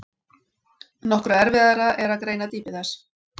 Nokkru erfiðara er að greina dýpi þess.